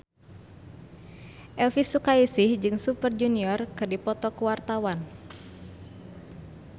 Elvi Sukaesih jeung Super Junior keur dipoto ku wartawan